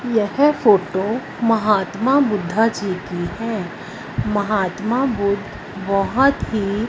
यह फोटो महात्मा बुद्धा जी की है महात्मा बुद्ध बहोत ही --